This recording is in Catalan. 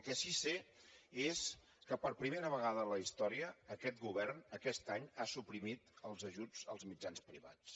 el que sí que sé és que per primera vegada en la història aquest govern aquest any ha suprimit els ajuts als mitjans privats